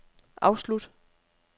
afslut